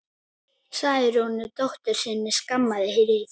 Særúnu dóttur sinni skamma hríð.